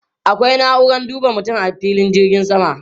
Akwai na'uran duba mutum a filin jirgin sama.